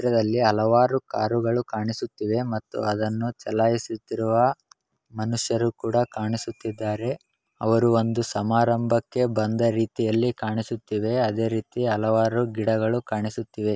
ಈ ಚಿತ್ರದಲ್ಲಿ ಹಲವಾರು ಕಾರುಗಳು ಕಾಣಿಸುತ್ತಿವೆ ಮತ್ತುಅದನ್ನು ಚಲಾಯಿಸುತ್ತಿರುವ ಮನುಷ್ಯರು ಕೂಡ ಕಾಣಿಸುತ್ತಿದ್ದಾರೆ ಅವರು ಒಂದು ಸಮಾರಂಭಕ್ಕೆ ಬಂದ ರೀತಿಯಲ್ಲಿಕಾಣಿಸುತ್ತಿವೆ ಅದೇ ರೀತಿ ಹಲವಾರು ಗಿಡಗಳು ಕಾಣಿಸುತ್ತಿವೆ.